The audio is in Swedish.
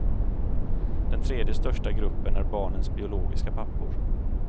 Den tredje största gruppen är barnens biologiska pappor.